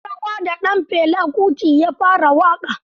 An yi rawa da ɗan Fela Kuti ya fara waƙa